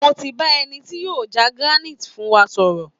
Mo ti bá eni tí yóò já granite fún wa sọ̀rọ̀